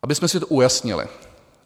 Abychom si to ujasnili.